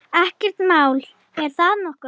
Ekkert mál, er það nokkuð?